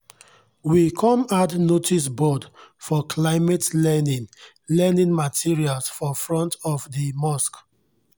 we kom add noticeboard for climate learning learning materials for front of di mosque.